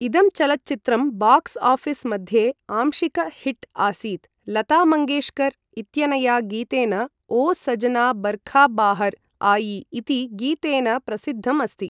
इदं चलच्चित्रं box office मध्ये आंशिक हिट् आसीत्, लता मङ्गेश्कर् इत्यनया गीतेन ओ सजना बर्खा बाहर् आई इति गीतेन प्रसिद्धम् अस्ति।